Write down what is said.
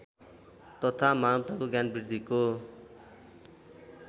तथा मानवताको ज्ञानवृद्धिको